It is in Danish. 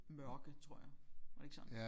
Mørke tror jeg var det ikke sådan